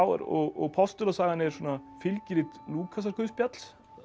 og postulasagan er svona fylgirit Lúkasarguðspjalls